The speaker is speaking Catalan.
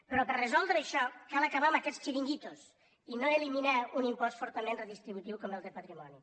però per resoldre això cal acabar amb aquests xiringuitos i no eliminar un impost fortament redistributiu com el de patrimoni